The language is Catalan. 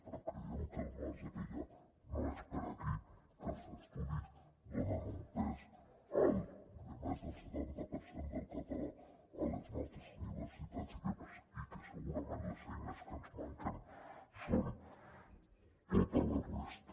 però creiem que el marge que hi ha no és per aquí que els estudis donen un pes alt de més del setanta per cent del català a les nostres universitats i que segurament les eines que ens manquen són tota la resta